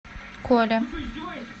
коле